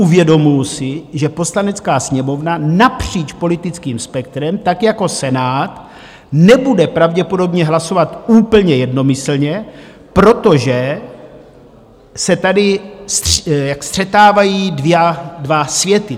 Uvědomuju si, že Poslanecká sněmovna napříč politickým spektrem, tak jako Senát, nebude pravděpodobně hlasovat úplně jednomyslně, protože se tady střetávají dva světy.